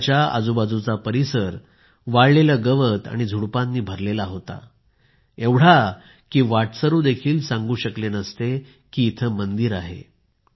मंदिराच्या आजूबाजूचा परिसर वाळलेले गवत आणि झुडपांनी भरलेला होता एवढा की वाटसरू देखील सांगू शकले नसते कि इथे मंदिर आहे